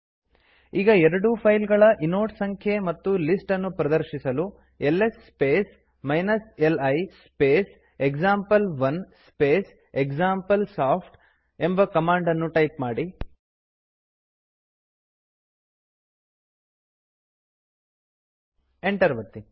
ಈಗ ಎರಡೂ ಫೈಲ್ಗಳ ಇನೋಡ್ ಸಂಖ್ಯೆ ಮತ್ತು ಲಿಸ್ಟ್ ಅನ್ನು ಪ್ರದರ್ಶಿಸಲು L S space li space example one space example soft ಎಂಬ ಕಮಾಂಡ್ ಅನ್ನು ಟೈಪ್ ಮಾಡಿ ಎಂಟರ್ ಒತ್ತಿ